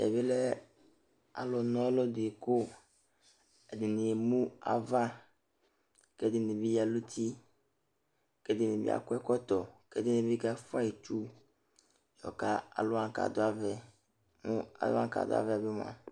Tɛ bɩ lɛ alʋna ɔlʋ dɩ kʋ ɛdɩnɩ emu ava kʋ ɛdɩnɩ bɩ ya nʋ uti kʋ ɛdɩnɩ bɩ akɔ ɛkɔtɔ kʋ ɛdɩnɩ bɩ kafʋa itsu yɔka alʋ wanɩ kʋ adʋ ava yɛ kʋ alʋ wa kʋ adʋ ava yɛ bɩ mʋa,